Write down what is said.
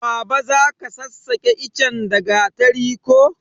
Baba zaka sassake ichen da gatari ko